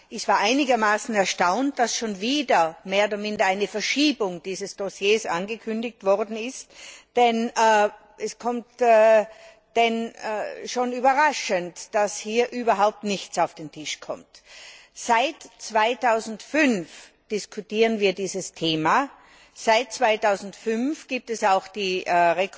Ich war einigermaßen erstaunt, dass schon wieder mehr oder minder eine Verschiebung dieses Dossiers angekündigt wurde, denn es ist schon überraschend, dass hier überhaupt nichts auf den Tisch kommt. Seit 2005 diskutieren wir dieses Thema, seit 2005 gibt es auch die Empfehlung